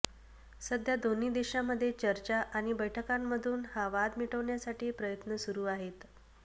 सध्या दोन्ही देशांमध्ये चर्चा आणि बैठकांमधून हा वाद मिटवण्यासाठी प्रयत्न सुरू आहेत